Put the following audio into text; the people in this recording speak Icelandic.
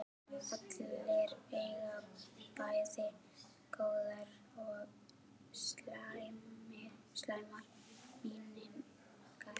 Allir eiga bæði góðar og slæmar minningar.